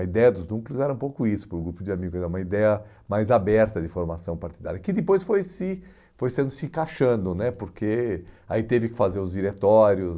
A ideia dos núcleos era um pouco isso, por grupo de amigos, uma ideia mais aberta de formação partidária, que depois foi se foi sendo se encaixando né, porque aí teve que fazer os diretórios,